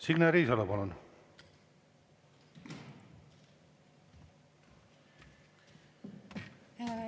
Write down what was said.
Signe Riisalo, palun!